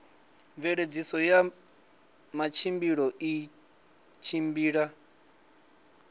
mveledziso ya matshilisano i tshimbila